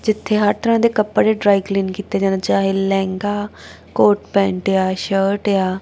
ਜਿੱਥੇ ਹਰ ਤਰ੍ਹਾਂ ਦੇ ਕੱਪੜੇ ਡਰਾਈ ਕਲੀਨ ਕੀਤੇ ਜਾਦੇ ਚਾਹੇ ਲਹਿੰਗਾ ਕੋਟ ਪੈਂਟ ਆ ਸ਼ਰਟ ਆ।